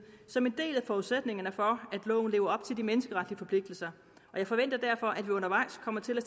som en del af forudsætningerne for at loven lever op til de menneskeretlige forpligtelser jeg forventer derfor at vi undervejs kommer til at